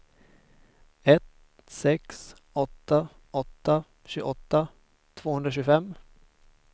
ett sex åtta åtta tjugoåtta tvåhundratjugofem